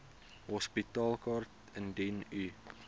hospitaalkaart indien u